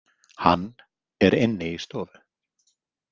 HANN er inni í stofu.